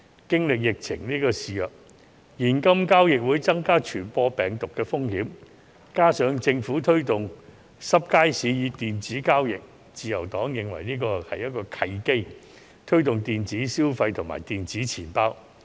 經歷疫情肆虐，現金交易會增加傳播病毒風險，加上政府推動濕街市以電子交易，自由黨認為這是一個推動電子消費及電子錢包的契機。